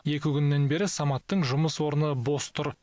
екі күннен бері саматтың жұмыс орны бос тұр